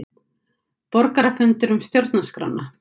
Borgarafundur um stjórnarskrána